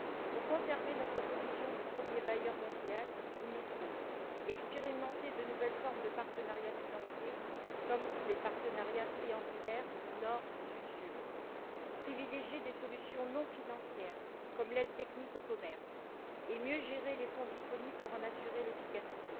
Pour conserver notre position de premier bailleur mondial, il nous faut expérimenter de nouvelles formes de partenariat financier, comme les partenariats triangulaires privilégier des solutions non financières, comme l'aide technique au commerce et mieux gérer les fonds disponibles pour en assurer l'efficacité.